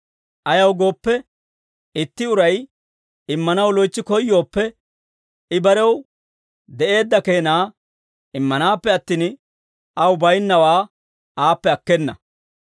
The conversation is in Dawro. Ayaw gooppe, itti uray immanaw loytsi koyyooppe, I barew de'eedda keenaa immanaappe attin, aw baynnawaa aappe akkena.